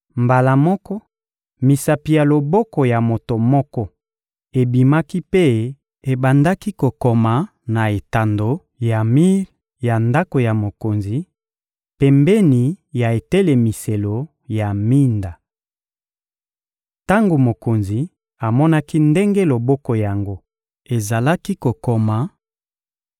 Mbala moko, misapi ya loboko ya moto moko ebimaki mpe ebandaki kokoma na etando ya mir ya ndako ya mokonzi, pembeni ya etelemiselo ya minda. Tango mokonzi amonaki ndenge loboko yango ezalaki kokoma,